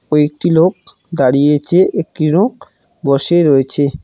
কয়েকটি লোক দাঁড়িয়েছে একটি রোক বসে রয়েছে।